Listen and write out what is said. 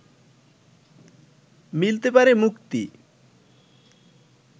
মিলতে পারে মুক্তি